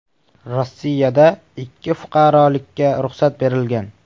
Rossiyada ikki fuqarolikka ruxsat berilgan.